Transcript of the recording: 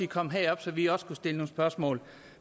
kom herop så vi også kunne stille nogle spørgsmål